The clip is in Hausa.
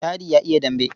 Dadi ya iya dambe.